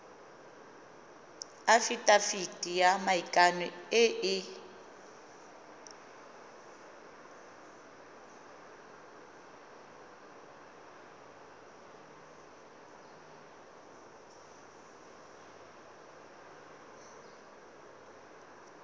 afitafiti ya maikano e e